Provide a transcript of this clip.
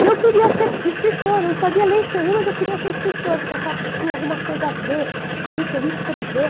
E eu queria ser escritora, eu não sabia ler e escrever, mas eu queria ser escritora, porque eu achava que tinha alguma coisa a ver ali que eu ia escrever.